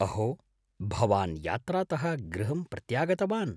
अहो, भवान् यात्रातः गृहं प्रत्यागतवान्?